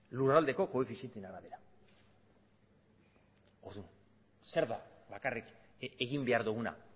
lurraldeko koefizienteen arabera orduan zer da bakarrik egin behar doguna